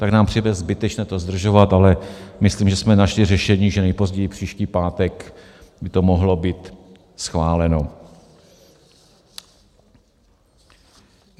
Tak nám přijde zbytečné to zdržovat, ale myslím, že jsme našli řešení, že nejpozději příští pátek by to mohlo být schváleno.